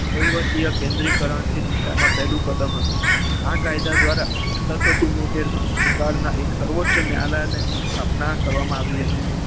વહીવટીય કેન્દ્રીકરણ થી આ દિશામાં પહેલું કદમ હતું. આ કાયદા દ્વારા કલમ સતરસો ચુંમોતેર માં બંગાળના બંગાળમાં એક સર્વોચ્ચ ન્યાયાલયની સ્થાપના કરવામાં આવી.